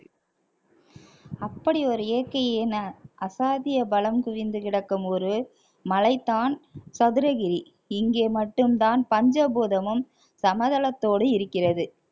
அப்படி ஒரு இயற்கையின் அசாத்திய பலம் குவிந்து கிடக்கும் ஒரு மலை தான் சதுரகிரி இங்கே மட்டும்தான் பஞ்சபூதமும் சமதளத்தோடு இருக்கிறது